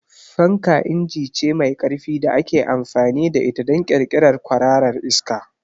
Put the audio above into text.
Fanka inji ce mai ƙarfi da ake amfani da ita don ƙirƙirar kwararar iska.